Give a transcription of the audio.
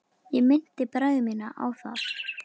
Ég minnti bræður mína á það.